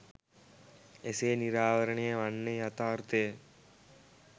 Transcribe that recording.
එසේ නිරාවරණය වන්නේ යථාර්ථය යි.